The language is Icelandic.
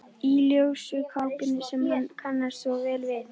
Í ljósu kápunni sem hann kannast svo vel við.